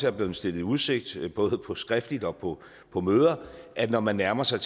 er blevet stillet i udsigt både skriftligt og på på møder at når man nærmer sig